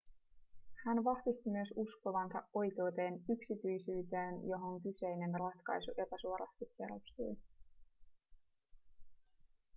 hän vahvisti myös uskovansa oikeuteen yksityisyyteen johon kyseinen ratkaisu epäsuorasti perustui